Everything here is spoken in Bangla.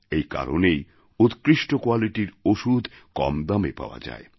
এই কারণেই উৎকৃষ্ট qualityর ওষুধ কম দামে পাওয়া যায়